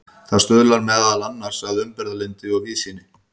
það stuðlar meðal annars að umburðarlyndi og víðsýni